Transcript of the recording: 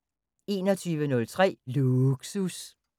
21:03: Lågsus